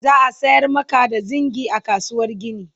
za'a sayar Maka da zingi a kasuwar gini